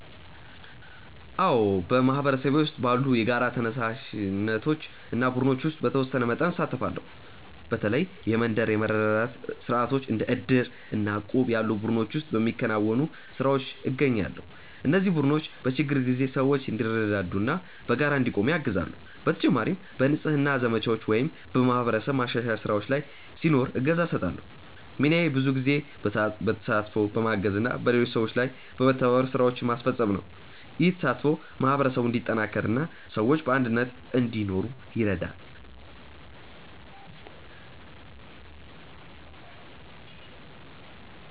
አዎ፣ በማህበረሰቤ ውስጥ ባሉ የጋራ ተነሳሽነቶች እና ቡድኖች ውስጥ በተወሰነ መጠን እሳተፋለሁ። በተለይ የመንደር የመረዳዳት ስርዓቶች እንደ ዕድር እና እቁብ ያሉ ቡድኖች ውስጥ በሚከናወኑ ስራዎች እገኛለሁ። እነዚህ ቡድኖች በችግር ጊዜ ሰዎች እንዲረዳዱ እና በጋራ እንዲቆሙ ያግዛሉ። በተጨማሪም በንጽህና ዘመቻዎች ወይም በማህበረሰብ ማሻሻያ ስራዎች ላይ ሲኖር እገዛ እሰጣለሁ። ሚናዬ ብዙ ጊዜ በተሳትፎ፣ በማገዝ እና በሌሎች ሰዎች ጋር በመተባበር ስራዎችን ማስፈጸም ነው። ይህ ተሳትፎ ማህበረሰቡን እንዲጠናከር እና ሰዎች በአንድነት እንዲኖሩ ይረዳል።